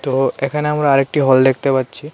ও এখানে আমরা আরেকটি হল দেখতে পাচ্ছি।